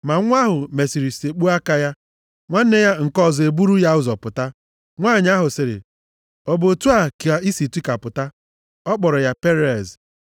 Ma nwa ahụ mesịrị sekpuo aka ya, nwanne ya nke ọzọ eburu ya ụzọ pụta. Nwanyị ahụ sịrị, “Ọ bụ otu a ka ị si tikapụta?” A kpọrọ ya Perez. + 38:29 Perez bụ nna ochie Devid. \+xt Rut 4:18-22; Mat 1:3-6; Luk 3:32-33\+xt*